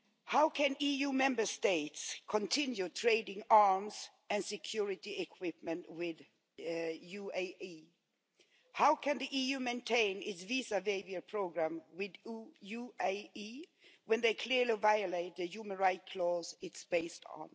How can EU Member States continue trading arms and security equipment with UAE? How can the EU maintain its visa waiver programme with UAE when they clearly violate the human rights clause it is based on?